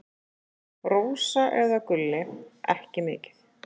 Rósa eða Gulli: Ekki mikið.